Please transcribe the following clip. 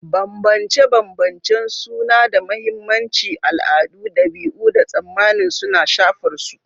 Bambance-bambancen suna da mahimmanci, al'adu, dabi'u, da tsammanin suna shafar su.